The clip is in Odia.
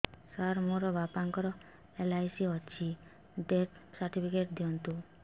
ସାର ମୋର ବାପା ଙ୍କର ଏଲ.ଆଇ.ସି ଅଛି ଡେଥ ସର୍ଟିଫିକେଟ ଦିଅନ୍ତୁ